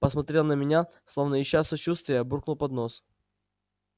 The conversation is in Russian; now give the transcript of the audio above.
посмотрел на меня словно ища сочувствия буркнул под нос